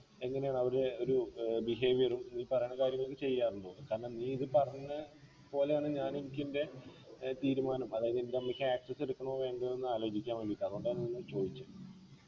എങ്ങനെയാ അവര് ഒരു ഏർ behavior ഉം ഈ പറയുന്ന കാര്യങ്ങളൊക്കെ ചെയ്യാറുണ്ടോ കാരണം നീ ഇത് പറഞ്ഞ പോലെയാണ് ഞാനും എനിക്കെൻ്റെ ഏർ തീരുമാനം അതായത് എൻ്റെ അമ്മയ്ക്ക് access എടുക്കണോ വേണ്ടയോ എന്ന് ആലോചിക്കാൻ വേണ്ടീട്ട അതോണ്ടാ ഒന്ന് ചോയിച്ചേ